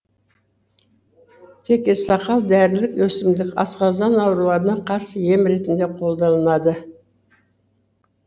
текесақал дәрілік өсімдік асқазан ауруларына қарсы ем ретінде қолданылады